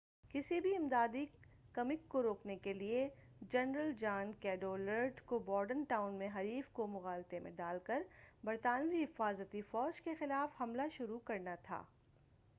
کسی بھی امدادی کمک کو روکنے کیلئے جنرل جان کیڈوالڈر کو بورڈن ٹاؤن میں حریف کو مغالطے میں ڈال کر برطانوی حفاظتی فوج کے خلاف حملہ شروع کرنا تھا